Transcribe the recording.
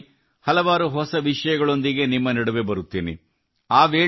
ಮುಂದಿನ ಬಾರಿ ಕೆಲವು ಹೊಸ ವಿಷಯಗಳೊಂದಿಗೆ ನಿಮ್ಮ ನಡುವೆ ಬರುತ್ತೇನೆ